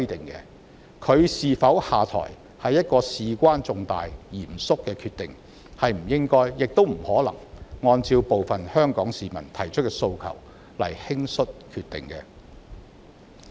現任行政長官是否下台是事關重大及嚴肅的決定，不應亦不可能按照部分香港市民提出的訴求輕率決定。